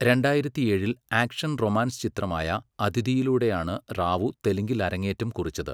രണ്ടായിരത്തിയേഴിൽ action romance ചിത്രമായ അഥിധിയിലൂടെയാണ് റാവു തെലുങ്കിൽ അരങ്ങേറ്റം കുറിച്ചത്.